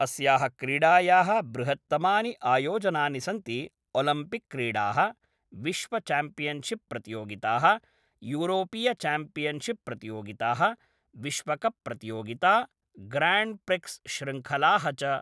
अस्याः क्रीडायाः बृहत्तमानि आयोजनानि सन्ति ओलिम्पिक्क्रीडाः, विश्वचैम्पियनशिप् प्रतियोगिताः, यूरोपीयचैम्पियनशिप् प्रतियोगिताः, विश्वकप् प्रतियोगिता, ग्र्याण्ड् प्रिक्स् शृङ्खलाः च।